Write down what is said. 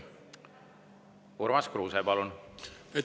Urmas Kruuse, palun!